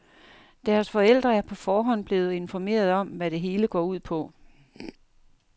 Deres forældre er på forhånd blevet informeret om, hvad det hele går ud på.